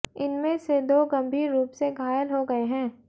इनमें से दो गंभीर रूप से घायल हो गए हैं